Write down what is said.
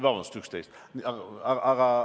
Vabandust, üksteist aastat.